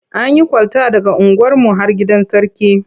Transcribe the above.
An yi kwalta daga unguwarmu har gidan Sarki.